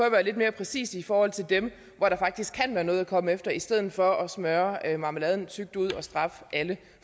at være lidt mere præcise i forhold til dem hvor der faktisk kan være noget at komme efter i stedet for at smøre marmeladen tykt ud og straffe alle